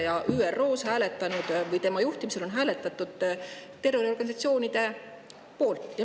Tema juhtimisel ÜRO-s terroriorganisatsioonide poolt.